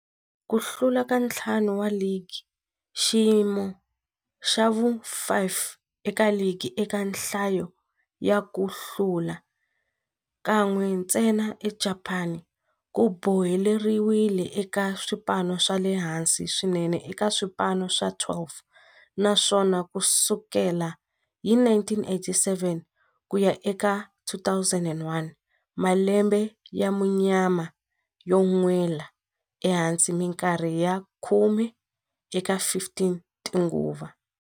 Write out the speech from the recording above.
Ku hlula ka ntlhanu wa ligi, xiyimo xa vu-5 eka ligi eka nhlayo ya ku hlula, kan'we ntsena eJapani, ku boheleriwile eka swipano swa le hansi swinene eka swipano swa 12, naswona ku sukela hi 1987 ku ya eka 2001, malembe ya munyama yo nwela ehansi minkarhi ya khume eka 15 tinguva.